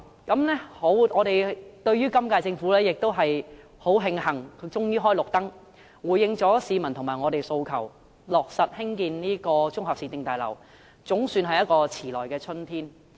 我們十分慶幸今屆政府終於開了綠燈，回應市民和我們的訴求，落實興建綜合市政大樓，總算是遲來的春天。